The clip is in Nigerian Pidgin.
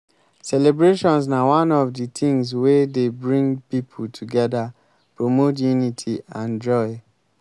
celebrations na one of di tings wey dey bring people together promote unity and joy.